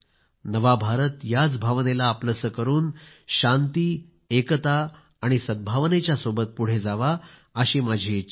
नवा भारत याच भावनेला आपलेसे करून शांती एकता आणि सद्भावनेच्या सोबत पुढे जावा अशी माझी इच्छा आहे